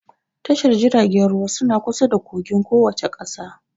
Tashar jiragen ruwa suna kusa da kogin kowace ƙasa